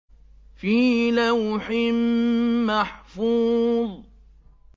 فِي لَوْحٍ مَّحْفُوظٍ